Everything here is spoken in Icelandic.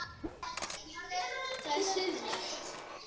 Er það siðlegt?